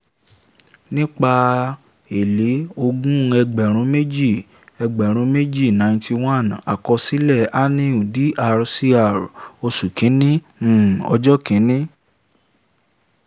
nípa èlé a/c ogún ẹgbẹ̀rún méjì ẹgbẹ̀rún méjì - ninety one -àkọsílẹ̀ anil dr cr oṣù kìíní um ọjọ́ kìíní